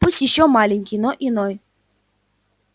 пусть ещё маленький но иной